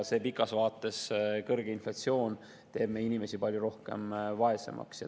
Pikas vaates teeks kõrge inflatsioon meie inimesi palju rohkem vaeseks.